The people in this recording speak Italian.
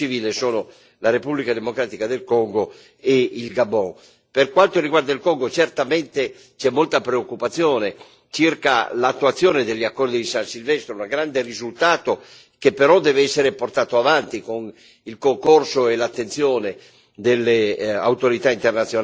Per quanto riguarda il Congo, certamente c'è molta preoccupazione circa l'attuazione degli accordi di San Silvestro, un grande risultato che però deve essere portato avanti con il concorso e l'attenzione delle autorità internazionali e delle istituzioni internazionali, visto che